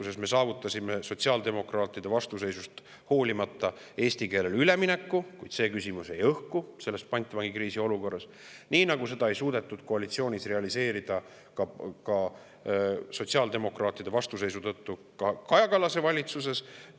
Siis me saavutasime tegelikkuses sotsiaaldemokraatide vastuseisust hoolimata eesti keelele ülemineku, kuid küsimus jäi selles pantvangikriisi olukorras õhku ja seda ei suudetud koalitsioonis sotsiaaldemokraatide vastuseisu tõttu ka Kaja Kallase valitsuses.